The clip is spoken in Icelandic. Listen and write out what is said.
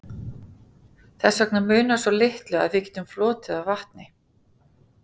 þess vegna munar svo litlu að við getum flotið á vatni